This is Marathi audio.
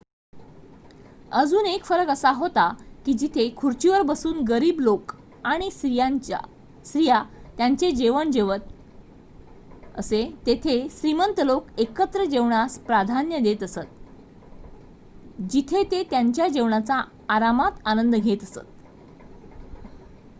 अजून एक फरक असा होता की जिथे खुर्चीवर बसून गरीब लोक आणि स्त्रीया त्यांचे जेवण जेवत असे तेथे श्रीमंत लोक एकत्र जेवण्यास प्राधान्य देत असत जिथे ते त्यांच्या जेवणाचा आरामात आनंद घेत असत